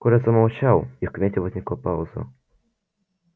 коля замолчал и в кабинете возникла пауза